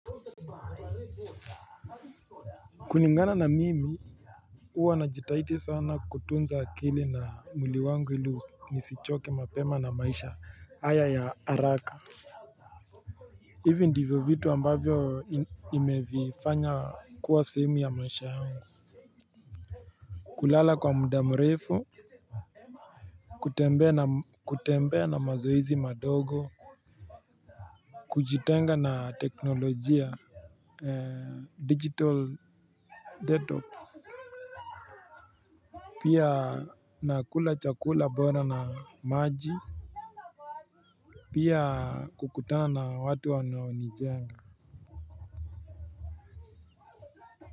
Kulingana na mimi huwa na jitahidi sana kutunza akili na mwili wangu ili nisichoke mapema na maisha haya ya haraka. Hivi ndivyo vitu ambavyo nimevifanya kuwa sehemu ya maisha yangu. Kulala kwa mudamrefu kutembea na mazoezi madogo. Kujitenga na teknolojia Digital Detox. Pia nakula chakula bora na maji. Pia kukutana na watu wanaonijenga.